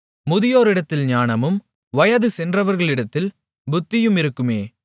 முதியோரிடத்தில் ஞானமும் வயது சென்றவர்களிடத்தில் புத்தியும் இருக்குமே